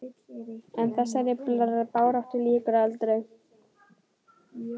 En þessari baráttu lýkur aldrei.